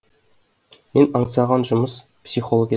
мен аңсаған жұмыс психолог еді